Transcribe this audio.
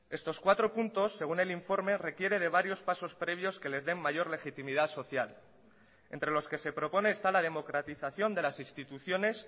estos cuatro puntos según el informe requiere de varios pasos previos que les den mayor legitimidad social entre los que se propone está la democratización de las instituciones